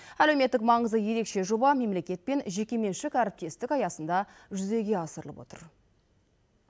әлеуметтік маңызы ерекше жоба мемлекет пен жекеменшік әріптестік аясында жүзеге асырылып отыр